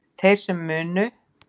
Þeir sem munu